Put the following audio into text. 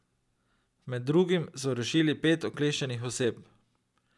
Med drugim so rešili pet ukleščenih oseb.